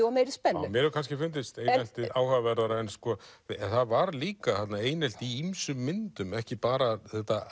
og meiri spennu mér hefur kannski fundist eineltið áhugaverðara en það var líka þarna einelti í ýmsum myndum ekki bara